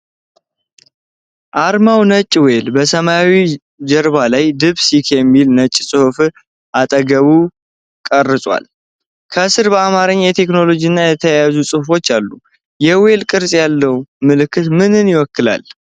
አርማው ነጭ ዌል በሰማያዊ ጀርባ ላይ 'deepseek' ከሚለው ነጭ ጽሁፍ አጠገብ ተቀርጿል። ከስር በአማርኛ የቴክኖሎጂ ጋር የተያያዘ ጽሑፍ አለ። የዌል ቅርፅ ያለው ምልክት ምንን ይወክላል?